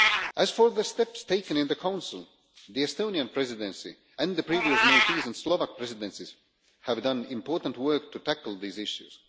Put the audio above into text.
As for the steps taken in the Council, the Estonian Presidency and the previous Maltese and Slovak Presidencies have done important work to tackle these issues.